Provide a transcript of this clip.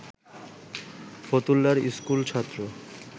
ফতুল্লার school ছাত্র